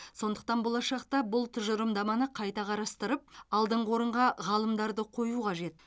сондықтан болашақта бұл тұжырымдаманы қайта қарастырып алдыңғы орынға ғалымдарды қою қажет